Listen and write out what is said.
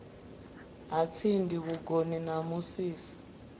ha tsindi vhugoni na musisi